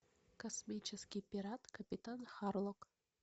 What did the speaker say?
космический пират капитан харлок